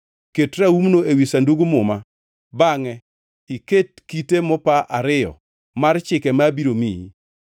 Ket raumno ewi Sandug Muma, bangʼe iket kite mopa ariyo mar chike ma abiro miyi.